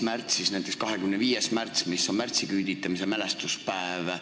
Näiteks on 25. märts märtsiküüditamise mälestuspäev.